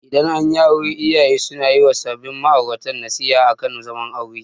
Idan anyi aure iyaye suna yi wa sabin ma'aurata nasiha akan zaman aure.